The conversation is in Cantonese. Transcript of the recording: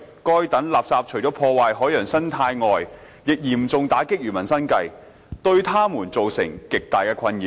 該等垃圾除了破壞海洋生態外，亦嚴重打擊漁民生計，對他們造成極大困擾。